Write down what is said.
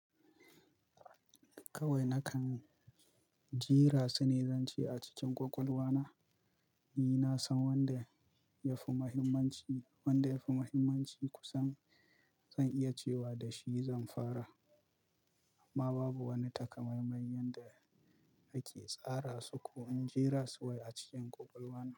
Kawai nakan jera su nezanci a cikin ƙwaƙwalwa na. Ni na san wanda ya fi mahimmanci, wanda ya fi mahimmanci kusan zan iya cewa da shi zan fara. Amma babu wani takamaiman yanda nake tsara su ko in jira su wai a cikin ƙwaƙwalwa na.